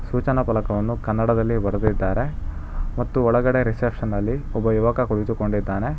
ಸೂಚನಾ ಪಲಕವನ್ನು ಕನ್ನಡದಲ್ಲಿ ಬರದಿದ್ದಾರೆ ಮತ್ತು ಒಳಗಡೆ ರಿಸ್ಸೆಶನ್ ಅಲ್ಲಿ ಒಬ್ಬ ಯುವಕ ಕುಳಿತುಕೊಂಡಿದ್ದಾನೆ.